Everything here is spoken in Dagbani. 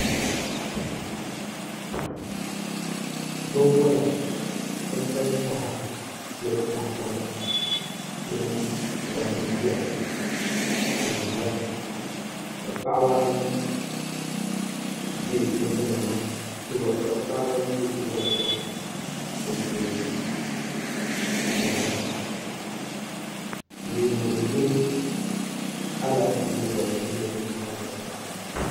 Binwola n pali taha mini tahapona mini gbambihi piɛla n ʒiya ka paɣaba ayi bɛ tiwola maa sunsuuni n lihiri leemu mini Alaafee ni wotamilo maa zaa nyɛla din bɛ nimaani